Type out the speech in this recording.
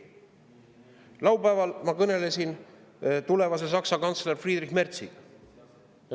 Laupäeval ma kõnelesin Saksa tulevase kantsleri Friedrich Merziga.